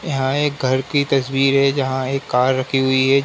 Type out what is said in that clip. यहाँ एक घर की तस्वीर है जहाँ एक कार रखी हुई है।